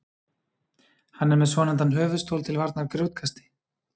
Hann er með svonefndan höfuðstól til varnar grjótkasti.